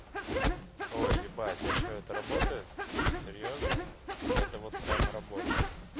ой ебать а что это работает серьёзно это вот прям работает